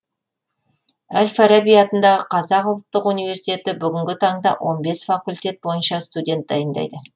әл фараби атындағы қазақ ұлттық университеті бүгінгі таңда он бес факультет бойынша студент дайындайды